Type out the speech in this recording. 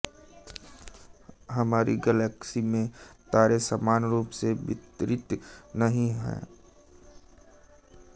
हमारी गैलेक्सी में तारे समान रूप से वितरित नहीं हैं